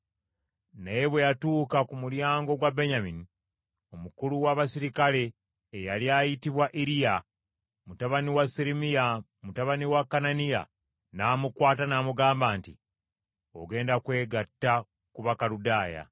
Naye bwe yatuuka ku mulyango gwa Benyamini, Omukulu w’abaserikale eyali ayitibwa Iriya mutabani wa Seremiya mutabani wa Kananiya n’amukwata n’agamba nti, “Ogenda kwegatta ku Bakaludaaya!”